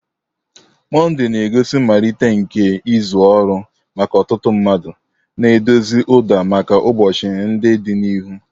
Monday na-egosi mmalite nke izu ọrụ maka ọtụtụ mmadụ, na-edozi ụda maka ụbọchị ndị dị n'ihu.